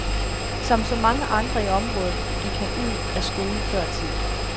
Som så mange andre i området gik han ud af skolen før tid.